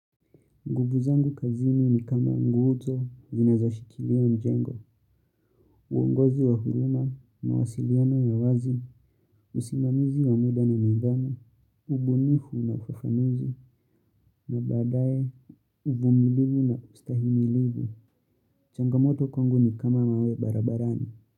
Nguvu zangu kazini ni kama nguzo, zinazoshikilia mjengo, uongozi wa huruma, mawasiliano ya wazi, usimamizi wa muda na nidhamu, ubunifu na ufafanuzi, na baadaye uvumilibu na ustahimilivu. Changamoto kwangu ni kama mawe barabarani.